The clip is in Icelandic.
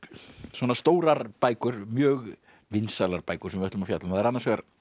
svona stórar bækur mjög vinsælar bækur sem við ætlum að fjalla um það er annars vegar